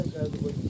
Təkrar qoy.